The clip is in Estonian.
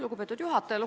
Lugupeetud juhataja!